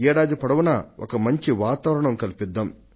ఏడాది పొడవునా ఒక మంచి వాతావరణాన్ని కల్పిద్దాం